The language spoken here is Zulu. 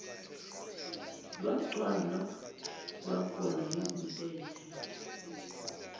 lwagcwala lwagola izintethe